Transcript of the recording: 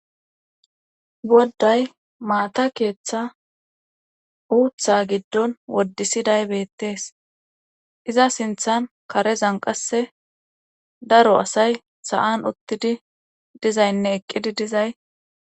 Wodday maata keeththa uutha giddon woddisiday beettees iza sinthan karezan qasse daro asay sa7an ottidi dizaynne eqqidi dizay